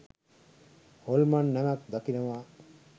හොල්මන් නැවක් දකිනවා